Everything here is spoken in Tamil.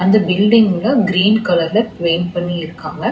இந்த பில்டிங்ல கிரீன் கலர்ல பெயிண்ட் பண்ணி இருக்காங்க.